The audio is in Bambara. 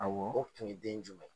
Awɔ, o tun ye den jumɛn ye ?